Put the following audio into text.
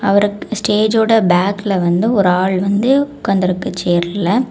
அவருக்கு ஸ்டேஜ்ஜோட பேக்ல வந்து ஒரு ஆள் வந்து உட்கார்ந்திருக்கு சேர்ல .